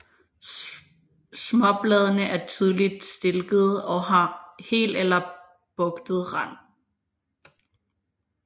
Småbladene er tydeligt stilkede og har hel eller bugtet rand